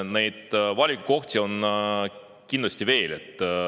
Neid valikukohti on kindlasti veel.